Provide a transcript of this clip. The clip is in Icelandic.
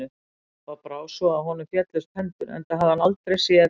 Pabba brá svo að honum féllust hendur, enda hafði hann aldrei séð